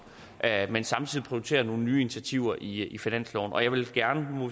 at man samtidig prioriterer nogle nye initiativer i i finansloven og jeg vil gerne